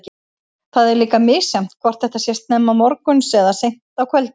Það er líka misjafnt hvort þetta sé snemma morguns eða seint á kvöldin.